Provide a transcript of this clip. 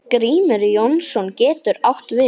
Hófið- Klókt nýyrði yfir svindl?